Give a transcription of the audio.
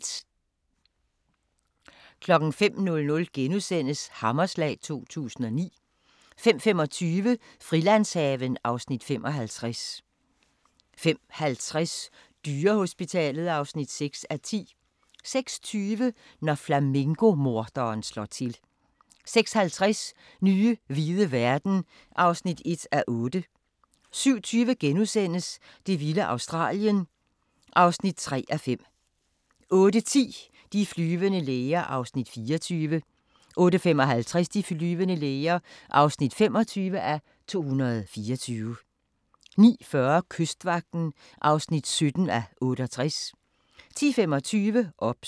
05:00: Hammerslag 2009 * 05:25: Frilandshaven (Afs. 55) 05:50: Dyrehospitalet (6:10) 06:20: Når flamingo-morderen slår til 06:50: Nye hvide verden (1:8) 07:20: Det vilde Australien (3:5)* 08:10: De flyvende læger (24:224) 08:55: De flyvende læger (25:224) 09:40: Kystvagten (17:68) 10:25: OBS